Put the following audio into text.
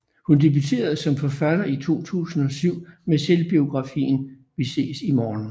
Hun debuterede som forfatter i 2007 med selvbiografien Vi ses i morgen